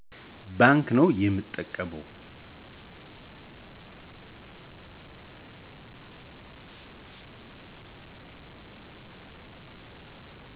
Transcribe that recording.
ባንክ ነዉ የምጠቀመዉ